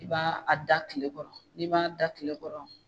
I b'a a da kile kɔrɔ n'i m'a da kile kɔrɔ.